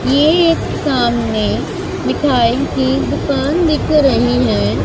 ये एक सामने मिठाई की दुकान दिख रही है।